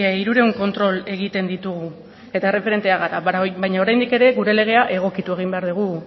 hirurehun kontrol egiten ditugu eta erreferenteak gara baina oraindik ere gure legea egokitu egin behar dugu